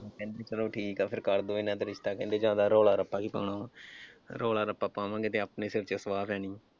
ਉਹ ਕਹਿੰਦੇ ਚਲੋ ਠੀਕ ਆ ਫਿਰ ਕਰਦਿਓ ਇਨ੍ਹਾਂ ਦਾ ਕਹਿੰਦੇ ਜਿਆਦਾ ਰੌਲਾ ਰੱਪਾ ਕੀ ਪਾਉਣਾ ਵਾਂ, ਰੌਲਾ ਰੱਪਾ ਪਾਵਾਂਗੇ ਤੇ ਆਪਣੇ ਸਿਰ ਚ ਸੁਆਹ ਪੈਣੀ ਆ।